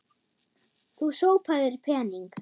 Þú sópaðir pening.